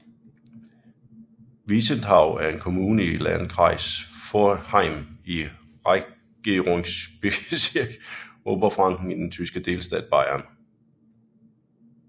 Wiesenthau er en kommune i Landkreis Forchheim i Regierungsbezirk Oberfranken i den tyske delstat Bayern